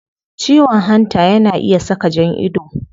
Ciwon hanta yana iya saka jan ido